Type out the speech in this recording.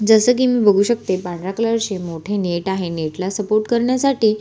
जस कि मी बघू शकते पांढऱ्या कलर ची मोठे नेट आहे नेट ला सपोर्ट करण्यासाठी--